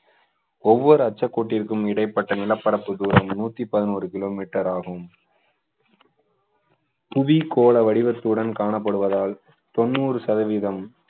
ஒவ்வொரு அச்சக்கோட்டிற்கும் இடைப்பட்ட நிலப்பரப்பு தூரம் நூற்று பதினோரு kilometer ஆகும் புவி கோள வடிவத்துடன் காணப்படுவதால் தொண்ணூறு சதவீதம்